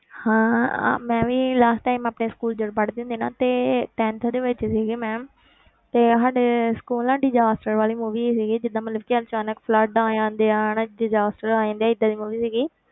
ਹਾਂ ਮੈਂ ਵੀ last time ਆਪਣੇ school ਜਦੋਂ ਪੜ੍ਹਦੀ ਹੁੰਦੀ ਨਾ ਤੇ tenth ਦੇ ਵਿੱਚ ਸੀਗੀ ਮੈਂ ਤੇ ਸਾਡੇ school ਨਾ disaster ਵਾਲੀ movie ਆਈ ਸੀਗੀ ਜਿੱਦਾਂ ਮਤਲਬ ਕਿ ਅਚਾਨਕ flood ਆ ਜਾਂਦੇ ਆ ਹਨਾ disaster ਆ ਜਾਂਦੇ ਆ ਏਦਾਂ ਦੀ movie ਸੀਗੀ,